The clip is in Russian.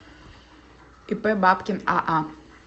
ип бабкин аа